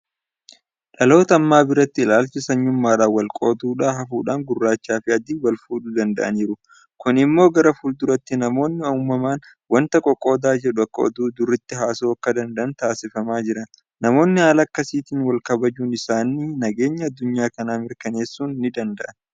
Dhaloota ammaa biratti ilaalchi sanyummaadhaan walqooduu hafuudhaan gurraachiifi adiin walfuudhuu danda'aniiru. Kun immoo gara fuulduraatti namoonni uumaman waanta qoqqooddaa jedhu akka oduu duriitti haasa'uu akka danda'an taasifamaa jira. Namoonni haala akkasiitiin walkabajuun isaanii nageenya addunyaa kanaa mirkaneessuus nidanda'a.